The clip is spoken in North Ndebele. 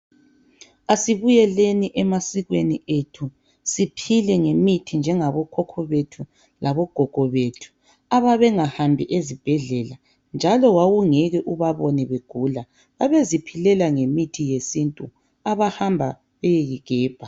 Asibuyeleni emasikweni wethu siphile ngemithi. njengabo koko labo gogo bethu ababehambi ezibhedlela njalo wawungeke ubabone begula babeziphilela ngemithi yesintu ahamba beyeyi gebha.